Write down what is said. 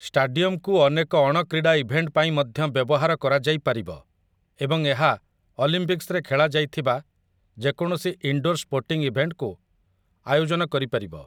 ଷ୍ଟାଡିୟମକୁ ଅନେକ ଅଣକ୍ରୀଡ଼ା ଇଭେଣ୍ଟ ପାଇଁ ମଧ୍ୟ ବ୍ୟବହାର କରାଯାଇପାରିବ ଏବଂ ଏହା ଅଲିମ୍ପିକ୍ସରେ ଖେଳାଯାଇଥିବା ଯେକୌଣସି ଇନଡୋର୍ ସ୍ପୋର୍ଟିଂ ଇଭେଣ୍ଟକୁ ଆୟୋଜନ କରିପାରିବ ।